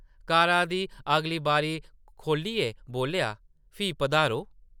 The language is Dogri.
कारा दी अगली बारी खोह्लियै बोल्लेआ, ‘‘फ्ही पधारो !’’